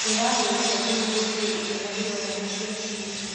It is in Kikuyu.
ndĩrahurire thĩmu gũĩtia irĩo na ndĩrona nĩ cĩa kĩnyio